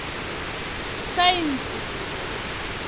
saentsi